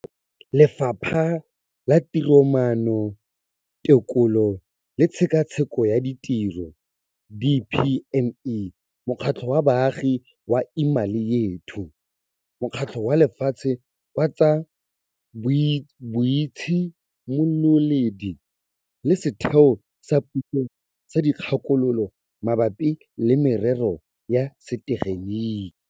Lefapha la Tiromaano, Tekolo le Tshekatsheko ya Tiro DPME, mokgatlho wa baagi wa Imali Yethu, Mokgatlho wa Lefatshe wa tsa Boitshimololedi le Setheo sa Puso sa Dikgakololo Mabapi le Merero ya Setegeniki.